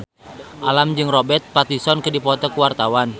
Alam jeung Robert Pattinson keur dipoto ku wartawan